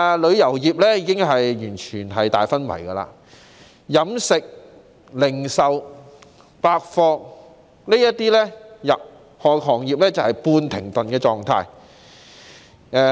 旅遊業已完全昏迷，而飲食業及零售百貨業等行業則處於半停頓的狀態。